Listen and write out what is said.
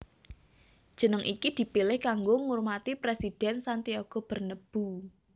Jeneng iki dipilih kanggo ngurmati Presiden Santiago Bernabeu